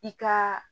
I ka